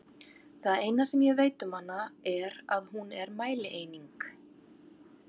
Það eina sem ég veit um hana er að hún er mælieining!